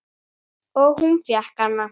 Og hún fékk hana.